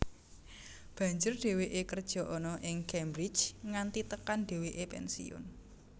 Banjur dheweke kerja ana ing Cambridge nganti tekan dheweke pensiun